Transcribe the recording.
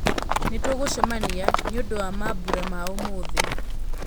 nĩ tũngũcemania nĩ ũndũ wa mambũra ma ũmũthi